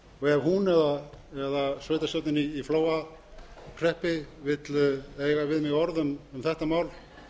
ef hún eða sveitarstjórnin í flóahreppi vill eiga við mig orð um þetta mál